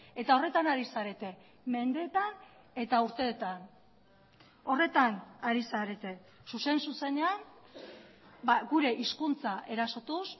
eta horretan ari zarete mendeetan eta urteetan horretan ari zarete zuzen zuzenean gure hizkuntza erasotuz